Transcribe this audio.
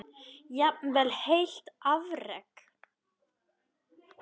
Jafnvel heilt afrek?